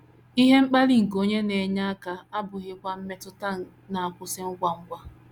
“ Ihe mkpali nke onye na - enye aka ” abụghịkwa mmetụta na - akwụsị ngwa ngwa.